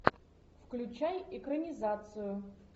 включай экранизацию